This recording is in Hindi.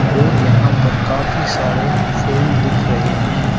और यहां पर काफी सारे फूल दिख रहे हैं।